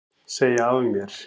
Segja af mér